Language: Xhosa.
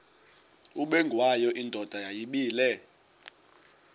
ubengwayo indoda yayibile